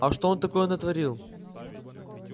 а что он такое натворил